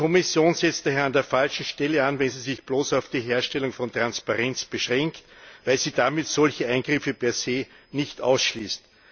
Die Kommission setzt daher an der falschen Stelle an, wenn sie sich bloß auf die Herstellung von Transparenz beschränkt, weil sie damit solche Eingriffe per se nicht ausschließt.